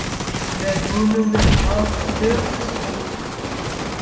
Með honum er haft púrtvín.